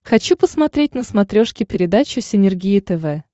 хочу посмотреть на смотрешке передачу синергия тв